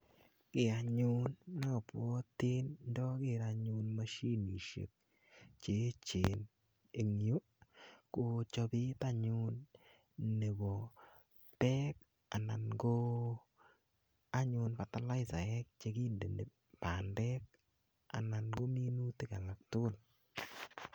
Ki anyun ne apwati ndaker anyun mashinishek che echen eng' yu, ko chopet anyun nepo pek anan ko anyun fertilizaek che kindeni pandek anan ko minutik alak tugul.